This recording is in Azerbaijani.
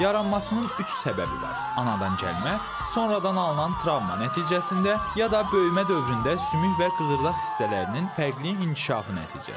Yaranmasının üç səbəbi var: anadan gəlmə, sonradan alınan travma nəticəsində ya da böyümə dövründə sümük və qığırdaq hissələrinin fərqli inkişafı nəticəsində.